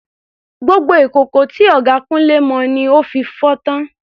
Gbogbo ìkòkò tí ọ̀gá Kunle mọ ni ó fi fọ́ tán.